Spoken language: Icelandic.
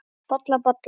Bolla, bolla!